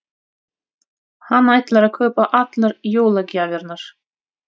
Hann ætlar að kaupa allar jólagjafirnar.